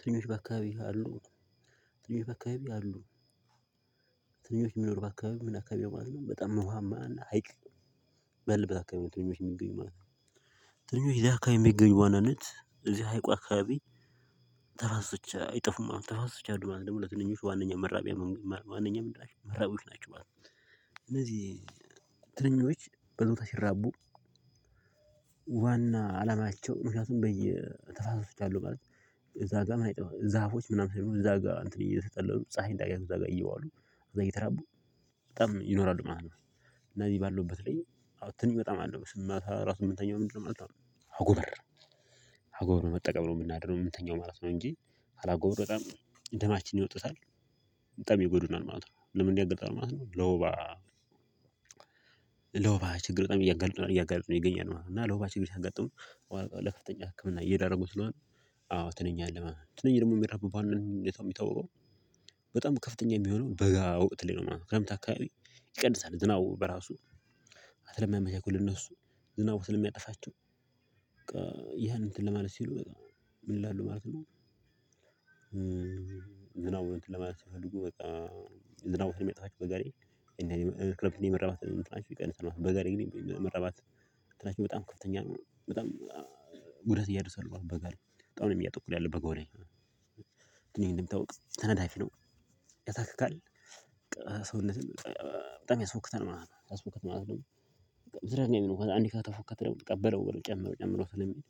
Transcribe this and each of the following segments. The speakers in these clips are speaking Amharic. ትንሽ በአካባቢህ አሉ? ትንሽ በአካባቢ አሉ፤ ትንሽ የሚኖሩ በአካባቢ ምን አካባቢ ነው ማለት ነው፣ በጣም ዉሀማ እና ሀይቅ፤ በምን አካባቢ ነው ትንኞች የሚገኙ ማለት ነው፤ ተንኞች እዚህ አካባቢ የሚገኙ ዋናነት እዚህ ሀይቁ አካባቢ ተፋሰች አይጠፉም ማለት ነው፤ ተፈሰች አሉ ማለት ደግሞ ለትንኞች ዋናኛ መራቢያ መንገድ ነው ማለት ነው፤ ዋነኛ ምላሽ መራቢያዎች ናቸው ማለት ነው፤ እነዚህ ትንኞች በዞታ ሲራቡ ዋና አላማቸው ምክንያቱም በየ ተፋሰሶች አሉ። ማለት እዛ ጋር ምን አይጠበቅብህም ዛፎች ምናምን እዛ ጋር እንትን እየተጠለሉ ፀሀይ እንዳያቱ እዛ ጋር እየዋሉ እዛ እየተራቡ በጣም ይኖራሉ ማለት ነው። እና እኔ ባለውበት ላይ አሁን ትንኝ በጣም አለው ማለት ነው። ማታ ራሱ ምንተኛው በምንድነው ማለት ነው? አጎበር አጎበር መጠቀም ነው የምናድረው የምንተኛው ማለት ነው። እንጂ አጎበር በጣም ደማችን ይወጡታል። በጣም ይጎዱናል ማለት ነው። ለምን ያጋልጣል ማለት ነው? ለወባ ለወባ ችግር በጣም እያጋለጡ ነው እያጋለጡን ይገኛሉ ማለት ነው። እና ለወባ ችግር ያጋጠሙት ለከፍተኛ ህክምና እየዳረጉን ስለሆነ አዎ ትንኝ አለ ማለት ነው። ትንኝ ደግሞ የሚባው ባንነቱን የሚታወረው በጣም ከፍተኛ የሚሆነው በጋ ወቅት ላይ ነው። ክረምት አካባቢ ይቀንሳል። ዝናቡ በራሱ አትለምያ መቼ እኮ ለነሱ ዝናቡ ስለ ሚያጠፋቸው በቃ ያን እንትን ለማለት ሲሉ ምን ይላሉ ማለት ነውዝናቡን እንትን ለማለት ሲፈልጉ በቃ ዝናቡ ስለሚያጠፋቸው በጋ ላይ ክረምት የመራባት እንትናቸው ይቀንሳል ማለት ነው በጋ ላይ መራባት በጣም ከፍተኛ ነው። በጣም ጉዳት ያደርሳሉ አሁን በጋ ላይ በጣም ነው እያጠቁን ያሉት በጋው ላይ። ይህም እንደሚታወቀው ተናዳፊ ነው፣ ያሳክካል። ሰውነትህን በጣም ያስፎክተናል ማለት ነው። ያስፎክተናል ማለት ደግሞ እንደዛ አንድ ከተፎክተ በለው በለው ጨምረው ጨምረው ስለሚል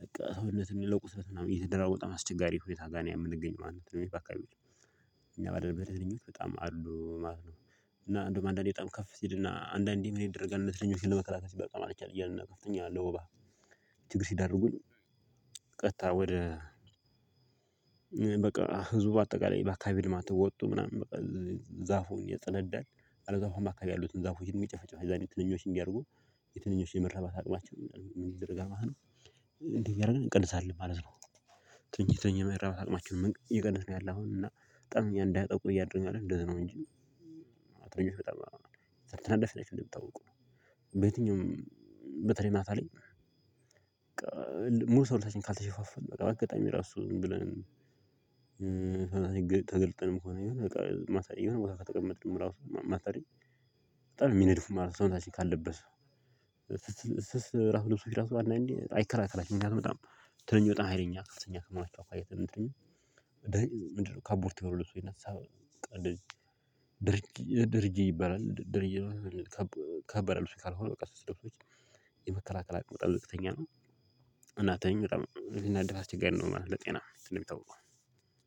በቃ ሰውነትን ለቁሰት እና እየተደራወጠ ማስቸጋሪ ሁኔታ ጋር እኔ የምንገኝ ማለት ነው። የሚባካው እኛ ባደረገኝ እኔ በጣም አሉ ማለት ነው። እና አንዱም አንዳንዴ በጣም ከፍ ሲልና አንዳንዴ ምን ይደረጋል እነሱን ለመከላከል በጣም አልቻለም እያልን እናውቃለን ለወባ ችግር ሲዳርጉን ቀጥታ ወደ በቃ ህዝቡ በአጠቃላይ በአካባቢ ልማት ወጡ ምናምን በቃ ዛፉን እያጸዳዳን አለዛም ዛፉ አካባቢ ያሉትን ዛፉን የሚጨፈጨፍ የዛኔ ትንኞች እንዲያደርጉ የትንኞችን የመረባት አቅማቸው ምን ይዘር ይደረጋል እንዴ እያደረግን እንቀንሳለን ማለት ነው ትንሽ ትንሽ መረብ አቅማችን መንገድ እየቀነሰ ነው ያለው አሁን እና በጣም እኛ እንዳይጠቁ እያደረኩኝ ነው እንደዛ ነው እንጂ አው ትንኞች በጣም ተናዳፊ ናቸው። እንደምታውቁ በየትኛውም በተለይ ማታ ላይ ሙሉ ሰውነታችን ካልተሸፋፈን በቃ በአጋጣሚ ራሱ ዝም ብለን ተገልጠንም ሆነ የሆነ ቦታ ከተቀመጥንም ራሱ ሰው ማሰሪ በጣም የሚነድፉ ማለት ነው ሰውንታችን ካለበት ስስ ስስ ራሱ ልብሶች ራሱ አይከራከራም። በጣም ትንንሽ በጣም ሀይለኛ አስተኛ ከማይታወቅ አይተንም ትንንሽ ምንድነው ካቦርቴ የሆኑ ሰው ይነሳ ድርጊት ድርጊት ይባላል ድርጊት ከበረሉ ካልሆነ በቃ ስትደርሱች የመከላከላ ቅመጣለቅተኛ ነው እናተኝ በጣም ልናደፋ ስትገነደው ማለት ነው ለጤና የሚታወቁ።